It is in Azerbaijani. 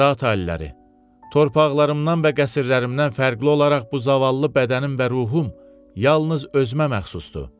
Zat aliləri, torpaqlarımdan və qəsrlərimdən fərqli olaraq bu zavallı bədənim və ruhum yalnız özümə məxsusdur.